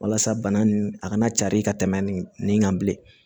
Walasa bana nin a kana cari ka tɛmɛ nin kan bilen